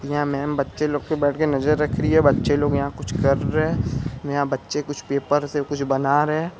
''यहाँ मेम बच्चे लोग के बैठ के नजर रख रही है बच्चे लोग यहा कुछ कर रहे है यहाँ बच्चे कुछ पेपर से कुछ बना रहे है।''